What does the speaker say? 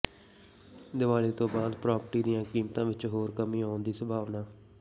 ਦੀਵਾਲੀ ਤੋਂ ਬਾਅਦ ਪ੍ਰਾਪਰਟੀ ਦੀਆਂ ਕੀਮਤਾਂ ਵਿੱਚ ਹੋਰ ਕਮੀ ਆਉਣ ਦੀ ਸੰਭਾਵਨਾ